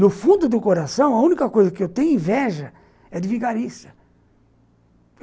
No fundo do coração, a única coisa que eu tenho inveja é de vigarista.